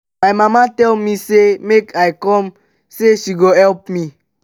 my mama tell me say make i come say she go help me